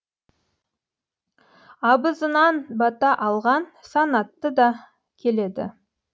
абызынан бата алған санатты да келеді